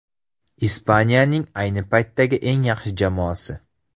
Ispaniyaning ayni paytdagi eng yaxshi jamoasi.